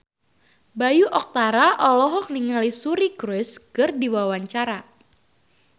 Bayu Octara olohok ningali Suri Cruise keur diwawancara